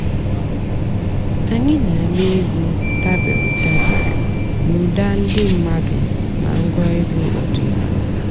ányị́ nà-àgbà ègwú dàbèré dàbèré n'ụ́dà ndị́ m̀mádụ́ nà ǹgwá ègwú ọ̀dị́náàlà.